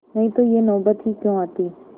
नहीं तो यह नौबत ही क्यों आती